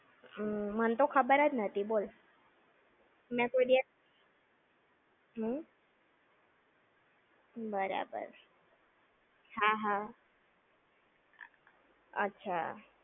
ઉમમ, મનતો ખબર જ નાતી બોલ! મેં કોઈ દિવસ. હમ્મ? બરાબર. હા હા. અચ્છા!